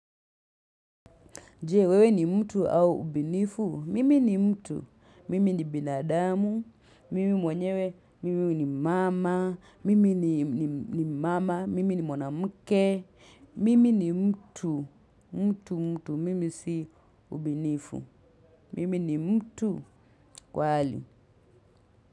Je? Wewe ni mtu au ubinifu? Mimi ni mtu. Mimi ni binadamu. Mimi mwenyewe. Mimi ni mama. Mimi ni mwana mke. Mimi ni mtu. Mtu mtu mtu. Mimi si ubinifu. Mimi ni mtu kweli.